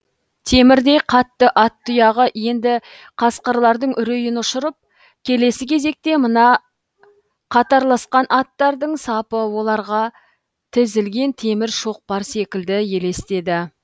темірдей қатты ат тұяғы енді қасқырлардың үрейін ұшырып келесі кезекте мына қатарласқан аттардың сапы оларға тізілген темір шоқпар секілді елестеді